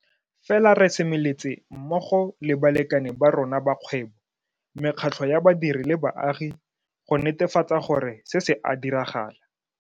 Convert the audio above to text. Fela re semeletse mmogo le balekane ba rona ba kgwebo, mekgatlo ya badiri le baagi go netefatsa gore se se a diragala.